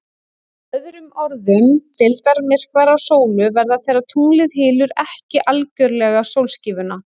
Með öðrum orðum, deildarmyrkvar á sólu verða þegar tunglið hylur ekki algjörlega sólskífuna.